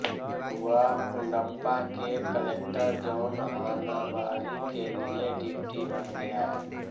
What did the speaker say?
वह कुडप्पा के collector John Hanbury के लिए डिप्टी बन गया